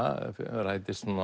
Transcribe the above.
rætist